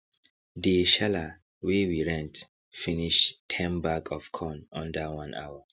dey sheller wey we rent finish ten bag of corn under one hour